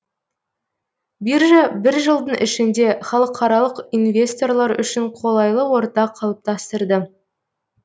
биржа бір жылдың ішінде халықаралық инвесторлар үшін қолайлы орта қалыптастырды